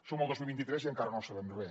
som al dos mil vint tres i encara no en sabem res